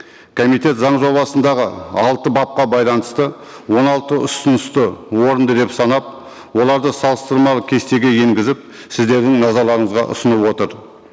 комитет заң жобасындағы алты бапқа байланысты он алты ұсынысты орынды деп санап оларды салыстырмалы кестеге енгізіп сіздердің назарларыңызға ұсынып отыр